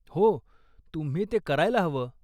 हो, तुम्ही ते करायला हवं.